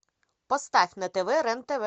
поставь на тв рен тв